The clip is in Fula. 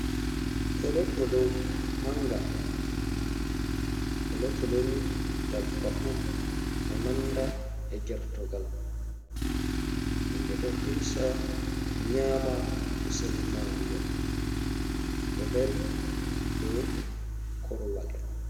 Tolotolo manga. Tolotolo ni dabbawa on ɗo nanda e gertogal. Himɓe ɗo hirsa nyama kusel magel ɗo dari dou korwal.